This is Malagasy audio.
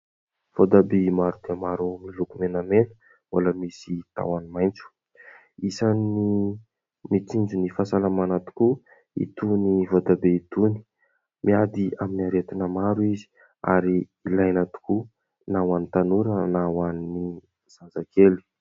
Votabia maro dia maro miloko menamena mbola misy tahony maitso. Isany mitsinjo ny fahasalamana tokoa itony voatabia itony, miady amin'ny aretina maro izy ary ilaina tokoa na ho an'ny tanora na ho an'ny zazakely.